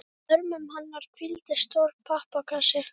Í örmum hennar hvíldi stór pappakassi.